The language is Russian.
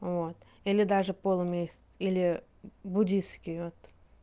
вот или даже полумесяц или буддистский вот